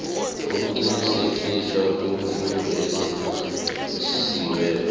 ukuqinisekiswa kweemfundo eziphasiweko